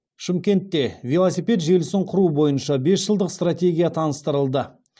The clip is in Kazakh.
шымкентте велосипед желісін құру бойынша бес жылдық стратегия таныстырылды